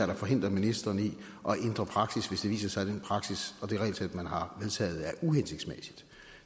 der forhindrer ministeren i at ændre praksis hvis det viser sig at den praksis og det regelsæt man har vedtaget er uhensigtsmæssigt